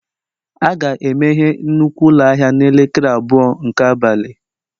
A ga-emeghe nnukwu ụlọ ahịa n'elekere abụọ nke abalị?